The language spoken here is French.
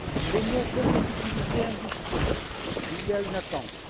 Les mots compétitivité industrie suscitent une attente.